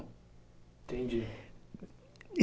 Entendi.